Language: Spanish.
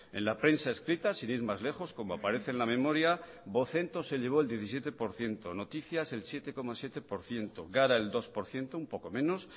en la prensa escrita sin ir más lejos como aparece en la memoria vocento se llevó el diecisiete por ciento noticias el siete coma siete por ciento gara el dos por ciento un poco menos